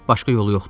Başqa yolu yoxdur.